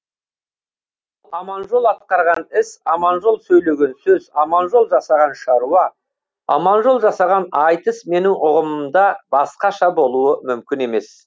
аманжол атқарған іс аманжол сөйлеген сөз аманжол жасаған шаруа аманжол жасаған айтыс менің ұғымымда басқаша болуы мүмкін емес